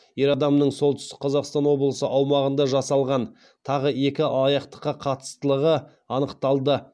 ер адамның солтүстік қазақстан облысы аумағында жасалған тағы екі алаяқтыққа қатыстылығы анықталды